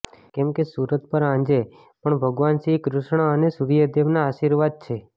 કેમ કે સુરત પર આંજે પણ ભગવાન શ્રી કૃષ્ણ અને સૂર્યદેવના આશીર્વાદ છે